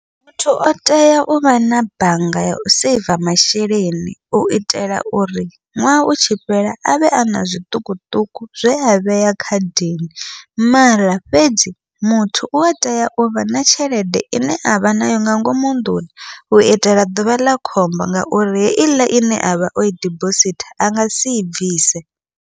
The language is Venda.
Muthu o tea uvha na bannga yau saver masheleni, uitela uri ṅwaha u tshi fhela avhe ana zwiṱukuṱuku zwe a vhea khadini mara fhedzi muthu ua tea uvha na tshelede ine avha nayo nga ngomu nnḓuni, u itela ḓuvha ḽa khombo ngauri heiḽa ine avha oi dibosithi a ngasi i bvise.